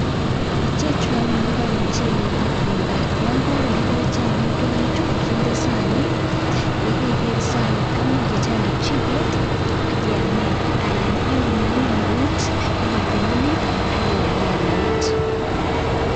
ichechuanyun ko ka mchelek ak beendo nyongagoruryo amitwogikchu chende sanit yekende sanit imuch icheng kichiget akiamen anan iun eut kotililit akiamen eut